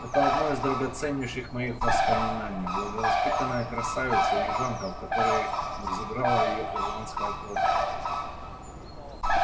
это одно из драгоценнейших моих воспоминаний благовоспитанная красавица-южанка в которой взыграла её ирландская кровь